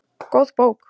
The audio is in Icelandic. Góð bók